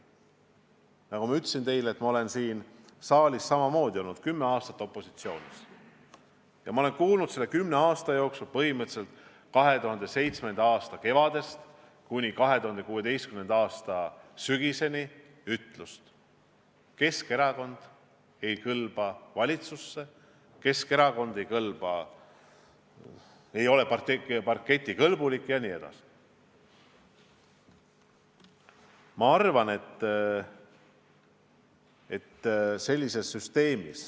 Nagu ma ütlesin teile, ma olen siin saalis kümme aastat opositsioonis olnud ja ma olen kuulnud selle kümne aasta jooksul – 2007. aasta kevadest kuni 2016. aasta sügiseni – ütlemist, et Keskerakond ei kõlba valitsusse, Keskerakond ei ole parketikõlbulik jne.